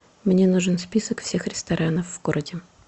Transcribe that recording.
мне нужен список всех ресторанов в городе